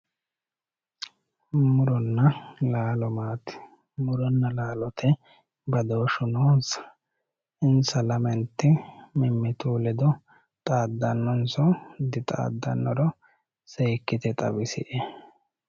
Muronna laaolo maati muronna laalote badooshu noonsa insa lamenti mimitinsa ledo xaadanonsahu hiito xaadanoro seekite xawisie